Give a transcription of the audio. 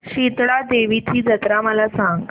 शितळा देवीची जत्रा मला सांग